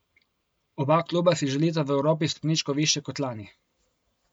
Oba kluba si želita v Evropi stopničko višje kot lani.